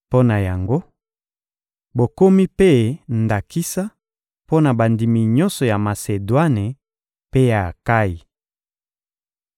Mpo na yango, bokomi mpe ndakisa mpo na bandimi nyonso ya Masedwane mpe ya Akayi.